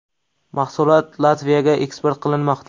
Mahsulot Latviyaga eksport qilinmoqda.